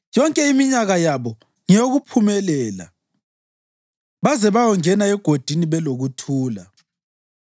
Yonke iminyaka yabo ngeyokuphumelela baze bayongena egodini belokuthula.